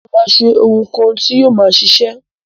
Mo má se oun kan ti yio ma sisẹ